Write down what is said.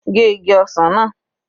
Gé igi ọsàn náà.